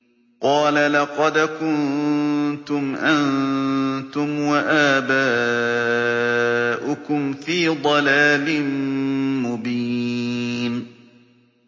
قَالَ لَقَدْ كُنتُمْ أَنتُمْ وَآبَاؤُكُمْ فِي ضَلَالٍ مُّبِينٍ